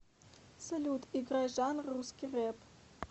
салют играй жанр русский рэп